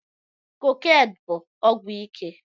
Kokènụ bụ ọgwụ ike